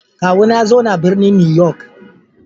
Kawuna ya zauna a birnin New York.